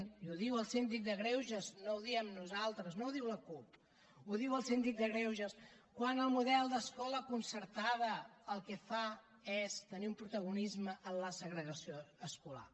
i ho diu el síndic de greuges no ho diem nosaltres no ho diu la cup ho diu el síndic de greuges quan el model d’escola concertada el que fa és tenir un protagonisme en la segregació escolar